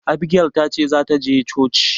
Abigel ta ce za ta je coci.